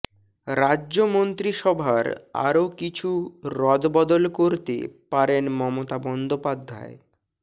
রাজ্য মন্ত্রিসভায় আরও কিছু রদবদল করতে পারেন মমতা বন্দ্যোপাধ্যায়